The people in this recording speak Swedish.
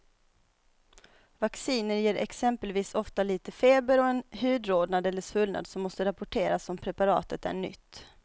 Vacciner ger exempelvis ofta lite feber och en hudrodnad eller svullnad som måste rapporteras om preparatet är nytt.